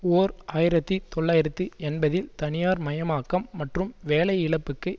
ஓர் ஆயிரத்தி தொள்ளாயிரத்தி எண்பதில் தனியார்மயமாக்கம் மற்றும் வேலை இழப்புக்கு